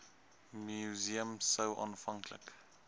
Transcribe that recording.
museum sou aanvanklik